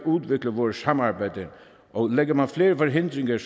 udvikle vores samarbejde og lægger man flere forhindringer